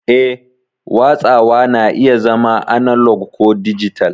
Eh, watsawa na iya zama analog ko dijital.